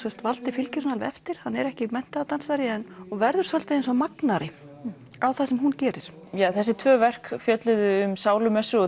valdi fylgir henni alveg eftir hann er ekki menntaður dansari en verður svolítið eins og magnari á það sem hún gerir já þessi tvö verk fjölluðu um sálumessu og